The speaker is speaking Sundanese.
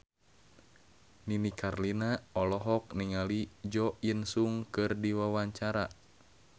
Nini Carlina olohok ningali Jo In Sung keur diwawancara